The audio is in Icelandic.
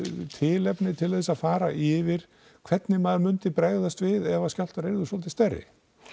tilefni til þess að fara yfir hvernig maður myndi bregðast við ef skjálftar yrðu svolítið stærri